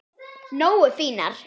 Nógu fínar?